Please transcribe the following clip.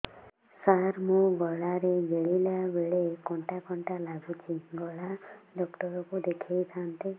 ସାର ମୋ ଗଳା ରେ ଗିଳିଲା ବେଲେ କଣ୍ଟା କଣ୍ଟା ଲାଗୁଛି ଗଳା ଡକ୍ଟର କୁ ଦେଖାଇ ଥାନ୍ତି